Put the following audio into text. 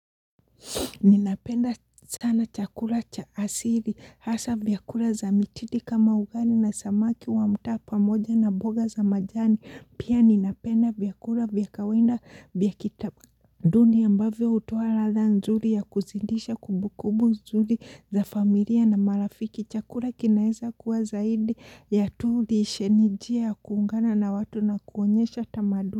Ninapenda sana chakula cha asili hasa vyakula za mitidi kama ugali na samaki wa mtaa pamoja na mboga za majani pia ninapenda vyakula vya kawaida vya kitamaduni ambavyo hutuwa ladha nzuri ya kuzidisha kumbukumbu nzuri za familia na marafiki chakula kinaeza kuwa zaidi ya tulishe nijia kuungana na watu na kuonyesha tamaduni.